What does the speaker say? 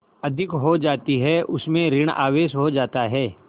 अधिक हो जाती है उसमें ॠण आवेश हो जाता है